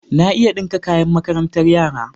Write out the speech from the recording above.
Na iya ɗinka kayan makarantar yara.